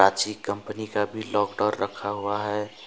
अच्छी कंपनी का भी लॉक डोर रखा हुआ है।